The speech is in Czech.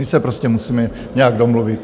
My se prostě musíme nějak domluvit.